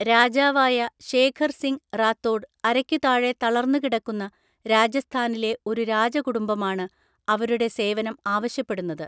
രാജാവായ ശേഖർ സിംഗ് റാത്തോഡ് അരയ്ക്കുതാഴെ തളർന്നുകിടക്കുന്ന രാജസ്ഥാനിലെ ഒരു രാജകുടുംബമാണ് അവരുടെ സേവനം ആവശ്യപ്പെടുന്നത്.